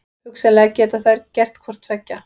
Hugsanlega geta þær gert hvort tveggja.